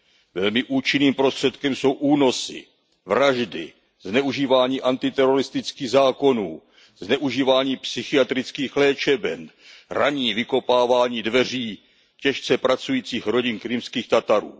Velmi účinným prostředkem jsou únosy, vraždy, zneužívání antiteroristických zákonů, zneužívání psychiatrických léčeben, ranní vykopávání dveří těžce pracujících rodin Krymských Tatarů.